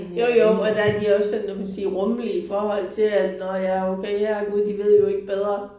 Jo jo og der er de også sådan hvad kan man sige rumlige i forhold til at nåh ja okay herregud de ved jo ikke bedre